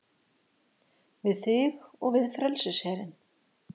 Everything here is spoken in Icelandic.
Við þig og við frelsisherinn